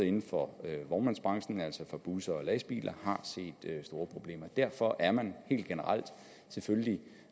inden for vognmandsbranchen altså for busser og lastbiler har set store problemer derfor er man helt generelt selvfølgelig